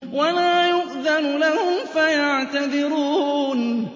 وَلَا يُؤْذَنُ لَهُمْ فَيَعْتَذِرُونَ